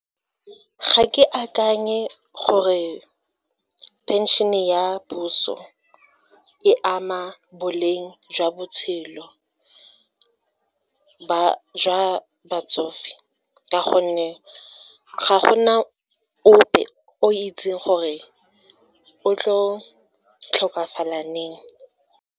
Ga ke akanye gore phenšene ya puso e ama boleng jwa botshelo jwa batsofe ka gonne ga go na ope o itseng gore o tlo tlhokafala .